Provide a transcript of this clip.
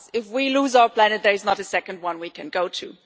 If we lose our planet, there is not a second one we can go to.